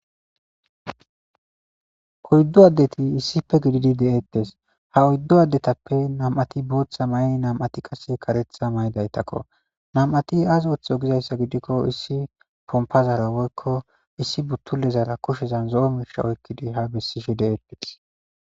4 adet issipe gidid detes, ha 4 adetappe 2 Botha mayin 2 qase karetha mayidaytako. 2 azi oothizo gikon issi pompazara woyko issi butuli'ezara kushezan zo'o mishe oykid ha besishe de'etes